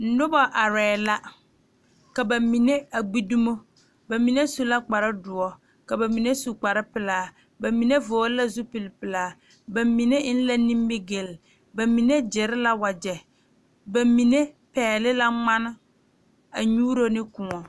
Noba are la ka bamine a gbe dɔmo bamine su la kpare doɔre ka bamine su kpare pelaa ka bamine vɔgle la zupele bamine eŋ la nimigele bamine gyere la wagye bamine pegle la ŋmaane a nyuuro ne kõɔ.